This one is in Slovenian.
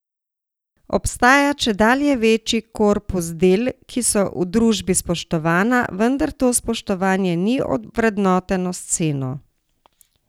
Obstaja čedalje večji korpus del, ki so v družbi spoštovana, vendar to spoštovanje ni ovrednoteno s ceno.